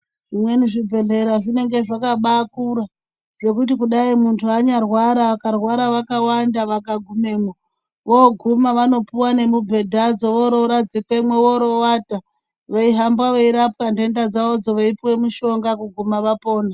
Zvimweni zvibhedhlera zvinenge zvakabakura zvekuti kudai muntu anyarwara vakarwara vakawanda vakagumemwo, voguma vanopuwe nemubhedhadzo vororadzikwemo vorowata veihamba veirwapwa nenda dzavodzo veipuwa mushonga kuguma vapona.